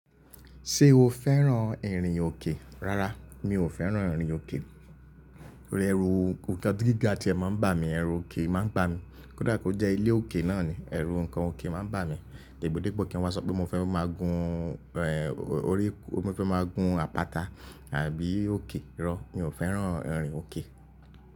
Ṣé o fẹ́ràn ìrìn òkè? Rárá, mi ò fẹ́ràn ìrìn òkè. Ore ẹrù ókè, ohun tí gíga tí ẹ máa ń bà mí, ẹrù òkè máa ń bà mí. Kódà kó jẹ́ ilé òkè náà ni, ẹrù nǹkan òkè máa ń bà mí. Depodepo kí wa sọ pé mo fẹ́ máa gun, orí, mo fẹ́ máa gun àpáta àbí òkè rọ, mi ò fẹ́ràn ìrìn òkè.